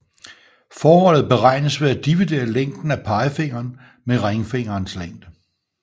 Forholdet beregnes ved at dividere længden af pegefingeren med ringfingerens længde